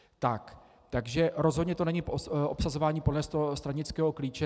Takže rozhodně to není obsazování podle stranického klíče.